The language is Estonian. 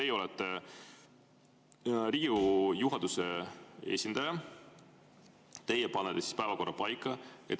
Teie olete Riigikogu juhatuse esindaja, teie panete päevakorra paika.